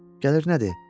Gəlir nədir?